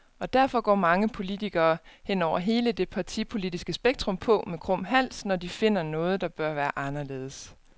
Og derfor går mange politikere, hen over hele det partipolitiske spektrum, på med krum hals, når de finder noget, der bør være anderledes.